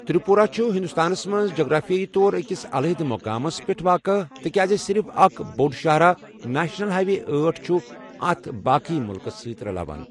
تِرٛپوٗرہ چُھ ہِنٛدُستانس منٛز جغرافِیٲیی طور أکِس علاحدٕ مُقامس پٮ۪ٹھ واقع، تِکیٛازِ صِرِف اَکھ بوٚڑ شاہراہ، نیشنَل ہاے وے أٹھ، چُھ اَتھ باقٕیہ مُلکس سۭتہِ رَلاوان ۔